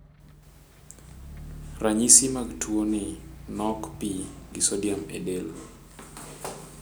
Ranyisi mag tuo ni nok pii gi sodium e del